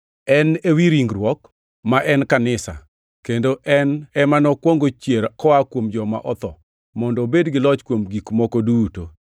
En ewi ringruok, ma en kanisa, kendo en ema nokwongo chier koa kuom joma otho mondo obed gi loch kuom gik moko duto.